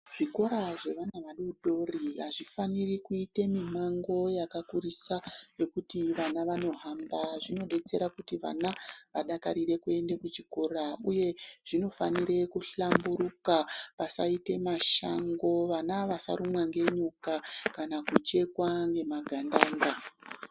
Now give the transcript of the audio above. Zvikora zvevana vadodori hazvifaniri kuite mimango yakakurisa nekuti vana vano hamba. Zvino betsera kuti vana vadakarire kuende kuchikora, uye zvinofanire kuhlamburuka vasaite mashango vana vasarumwa ngenyoka kana kuchekwa ngemagandanga.